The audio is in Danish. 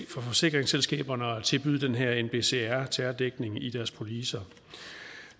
forsikringsselskaberne at tilbyde den her nbcr terrordækning i deres policer